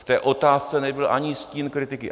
V té otázce nebyl ani stín kritiky.